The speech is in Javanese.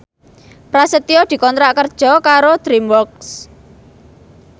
Prasetyo dikontrak kerja karo DreamWorks